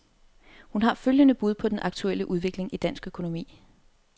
Hun har følgende bud på den aktuelle udvikling i dansk økonomi.